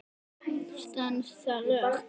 Stenst það lög?